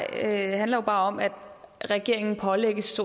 handler jo bare om at regeringen pålægges